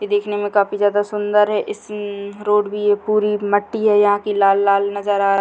ये देखने में काफी सुंदर है इसी रोड पर ये पूरी मट्टी है यहाँ की लाल लाल नजर आ रही --